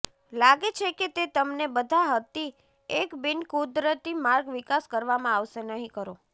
લાગે છે કે તે તમને બધા હતી એક બીનકુદરતી માર્ગ વિકાસ કરવામાં આવશે નહીં કરો